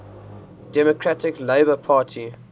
democratic labour party